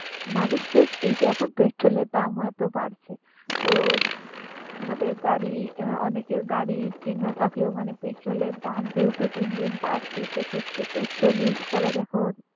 মানুষ just এই যে এখন পেট্রোলের দামও এত বাড়ছে তো আমাদের গাড়ি, আহ অনেকের গাড়ি কেনা থাকলেও মানে পেট্রোলের দাম যেহেতু দিন দিন বাড়ছে সেক্ষেত্রে পেট্রোল use করা যখন